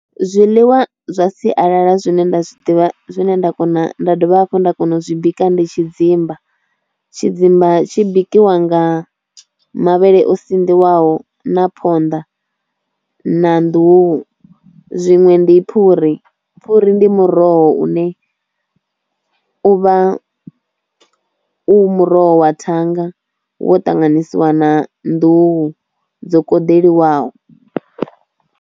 Zwiḽiwa zwa sialala zwine nda zwi ḓivha zwine nda kona nda dovha hafhu nda kona u zwi bika ndi tshidzimba, tshidzimba tshi bikiwa nga mavhele o sinḓiwaho na phonḓa na nḓuhu zwiṅwe ndi phuri, phuri ndi muroho une u vha u muroho wa thanga wo ṱanganyisiwa na nḓuhu dzo koḓelwaho.